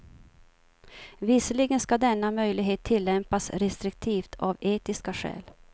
Visserligen ska denna möjlighet tillämpas restriktivt av etiska skäl.